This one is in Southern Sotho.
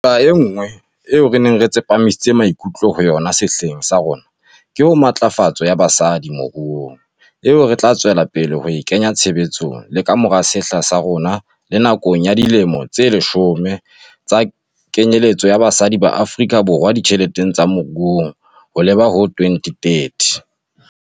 Nqa enngwe eo re neng re tsepamisitse maikutlo ho yona sehleng sa rona ke ho matlafatso ya basadi moruong, eo re tla tswela pele ho e kenya tshebetsong le ka mora sehla sa rona le nakong ya Dilemo tse Leshome tsa Kenyeletso ya Basadi ba Afrika Ditjheleteng le Moruong ho leba ho 2030.